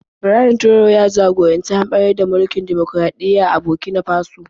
Ibrahim Traore ya jagoranci hamɓarar da mulkin dimokuraɗiyya a Burkina Faso.